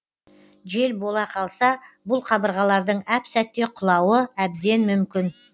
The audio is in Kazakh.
жел бола қалса бұл қабырғалардың әп сәтте құлауы әбден мүмкін